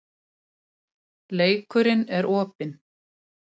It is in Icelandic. Leikurinn er opinn